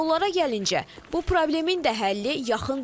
Yollara gəlincə, bu problemin də həlli yaxın deyil.